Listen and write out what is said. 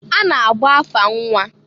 A na-agba afa nnwa.